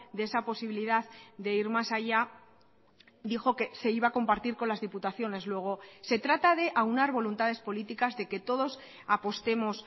de esa posibilidad de ir más allá dijo que se iba a compartir con las diputaciones luego se trata de aunar voluntades políticas de que todos apostemos